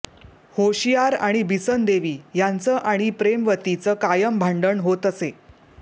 होशियार आणि बिसन देवी यांचं आणि प्रेमवतीचं कायम भांडण होत असे